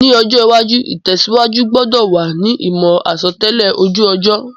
Ní ọjọ́ iwájú, ìtẹ̀síwájú gbudò wa ni ìmò àsotẹ́lẹ̀ ojú ọjọ́